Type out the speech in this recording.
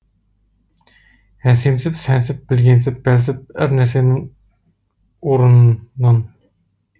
әсемсіп сәнсіп білгенсіп бәлсіп әр нәрсенің орынын